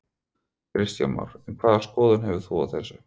Kristján Már: En hvaða skoðun hefur þú á þessu?